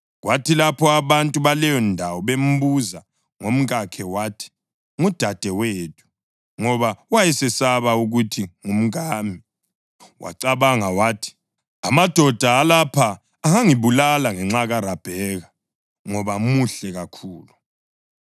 Kwathi lapho abantu baleyondawo bembuza ngomkakhe wathi, “Ngudadewethu,” ngoba wayesesaba ukuthi, “Ngumkami.” Wacabanga wathi, “Amadoda alapha angangibulala ngenxa kaRabheka, ngoba muhle kakhulu.”